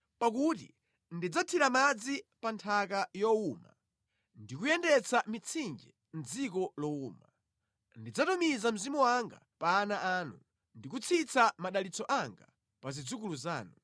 Pakuti ndidzathira madzi pa nthaka yowuma, ndi kuyendetsa mitsinje mʼdziko lowuma; ndidzatumiza Mzimu wanga pa ana anu, ndi kutsitsa madalitso anga pa zidzukulu zanu.